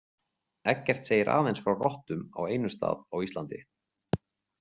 Eggert segir aðeins frá rottum á einum stað á Íslandi.